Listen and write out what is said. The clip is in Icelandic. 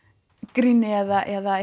gríni eða